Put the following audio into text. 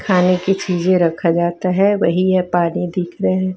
खाने की चीजे रखा जाता है वही यह पानी दिख रहे--